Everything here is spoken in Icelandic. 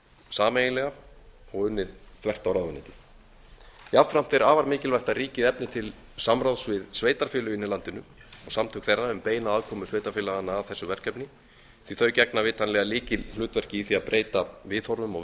sameiginlega og unnið þvert á ráðuneytin jafnframt er afar mikilvægt að ríkið efni til samráðs við sveitarfélögin í landinu og samtök þeirra um beina aðkomu sveitarfélaganna að þessu verkefni því að þau gegna vitanlega lykilhlutverki í því að breyta viðhorfum og